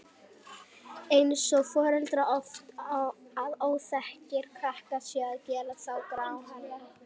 Eins segja foreldrar oft að óþekkir krakkar séu að gera þá gráhærða.